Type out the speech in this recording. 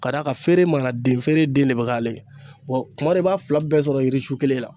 Ka d'a kan feere mana den feere den de be k'ale ye wa kuma dɔ la i b'a fila bɛɛ sɔrɔ yiri sun kelen na